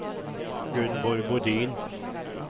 Gunborg Bodin